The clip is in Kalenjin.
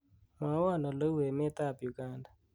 mwowon oleu emet ab uganda